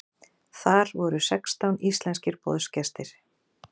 Þar voru sextán íslenskir boðsgestir.